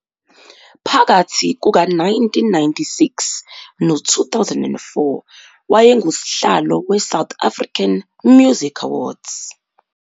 Phakathi kuka-1996 no-2004 wayengusihlalo we-South African Music Awards.